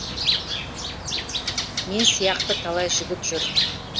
мен сияқты талай жігіт жүр